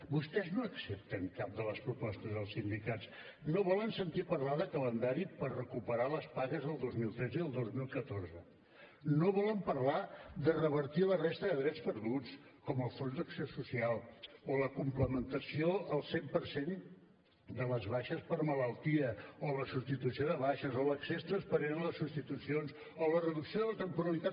vostès no accepten cap de les propostes dels sindicats no volen sentir parlar de calendari per recuperar les pagues del dos mil tretze i del dos mil catorze no volen parlar de revertir la resta de drets perduts com el fons d’acció social o la complementació al cent per cent de les baixes per malaltia o la substitució de baixes o l’accés transparent a les substitucions o la reducció de la temporalitat